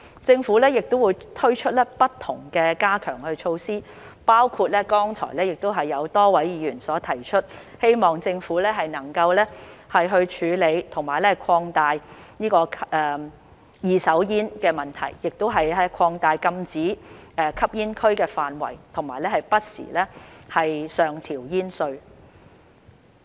政府亦會推出不同的加強措施，包括剛才有多位議員提出，希望政府能夠處理二手煙的問題，亦擴大禁止吸煙區範圍和不時上調煙稅。